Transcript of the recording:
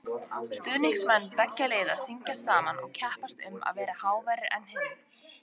Stuðningsmenn beggja liða syngja saman og keppast um að vera háværari en hinn.